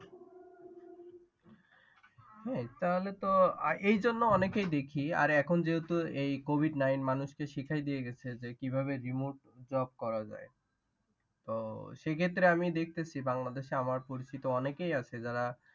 হ্যাঁ, তাহলে তো এই জন্য অনেকেই দেখি আর এখন যেহেতু এই covid nine মানুষ কে শিখাই দিয়ে গেছে যে কিভাবে remote job করা যায়। তো সে ক্ষেত্রে আমি দেখতেছি বাংলাদেশে আমার পরিচিত অনেকেই আছে যারা।